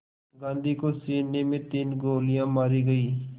गांधी को सीने में तीन गोलियां मारी गईं